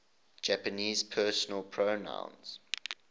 japanese personal pronouns